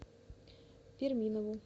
перминову